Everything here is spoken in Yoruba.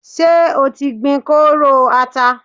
Ṣé o ti gbin kóóró ata?